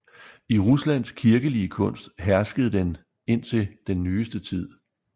I Ruslands kirkelige kunst herskede den indtil den nyeste tid